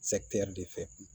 de fɛ